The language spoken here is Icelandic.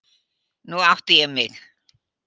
Nú átti ég mig.